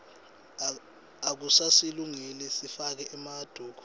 akusasilungeli sifake emaduku